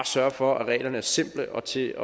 sørge for at reglerne er simple og til